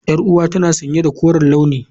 Yar'uwata tana sanye da koren launi.